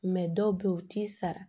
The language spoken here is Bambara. dɔw bɛ yen u t'i sara